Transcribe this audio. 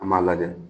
An b'a lajɛ